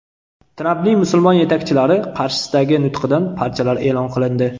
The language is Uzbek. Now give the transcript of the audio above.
Trampning musulmon yetakchilari qarshisidagi nutqidan parchalar e’lon qilindi.